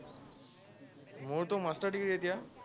মোৰতো master degree এতিয়া।